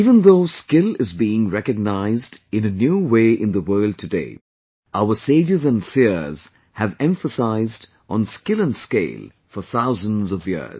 Even though skill is being recognized in a new way in the world today, our sages and seers have emphasized on skill and scale for thousands of years